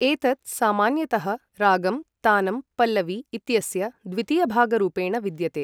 एतत् सामान्यतः रागं तानं पल्लवि इत्यस्य द्वितीयभागरूपेण विद्यते।